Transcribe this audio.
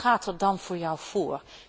Wat gaat er dan voor jou voor?